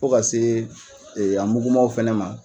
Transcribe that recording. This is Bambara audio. Fo ka se a mugumaw fana ma.